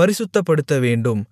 பரிசுத்தப்படுத்தவேண்டும்